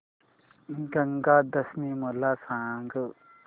गंगा दशमी मला सांग